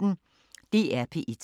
DR P1